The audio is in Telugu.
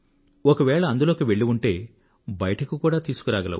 ఒకవేళ అందులోకి వెళ్ళి ఉంటే బయటకు కూడా తీసుకురాగలవు